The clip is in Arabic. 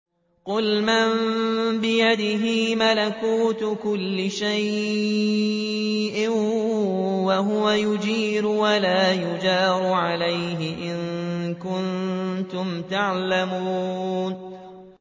قُلْ مَن بِيَدِهِ مَلَكُوتُ كُلِّ شَيْءٍ وَهُوَ يُجِيرُ وَلَا يُجَارُ عَلَيْهِ إِن كُنتُمْ تَعْلَمُونَ